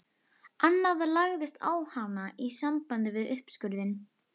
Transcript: Annað lagðist á hana í sambandi við uppskurðinn.